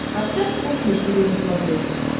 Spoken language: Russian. поставь кухня тиви на смотрешке